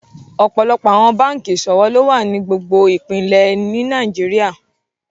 Ọpọlọpọ̀ awọn bankí iṣọwọ̀ lọ wà ni gbogbo ìpínlẹ̀ ní Nàìjíríà.